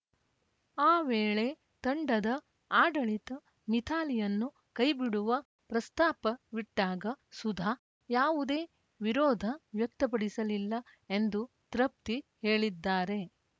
ಆ ವೇಳೆ ತಂಡದ ಆಡಳಿತ ಮಿಥಾಲಿಯನ್ನು ಕೈಬಿಡುವ ಪ್ರಸ್ತಾಪವಿಟ್ಟಾಗ ಸುಧಾ ಯಾವುದೇ ವಿರೋಧ ವ್ಯಕ್ತಪಡಿಸಲಿಲ್ಲ ಎಂದು ತೃಪ್ತಿ ಹೇಳಿದ್ದಾರೆ